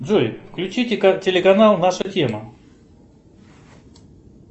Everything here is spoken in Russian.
джой включите телеканал наша тема